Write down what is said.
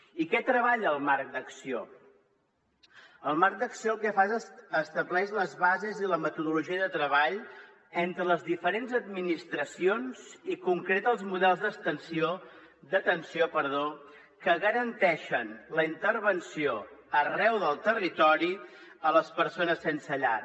i què treballa el marc d’acció el marc d’acció el que fa és estableix les bases i la metodologia de treball entre les diferents administracions i concreta els models d’atenció que garanteixen la intervenció arreu del territori a les persones sense llar